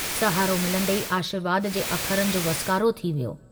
सहारो मिलंदे ई आशीर्वाद जे अखरनि जो वसकारो थी वियो।